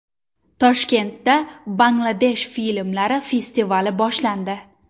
Toshkentda Bangladesh filmlari festivali boshlandi.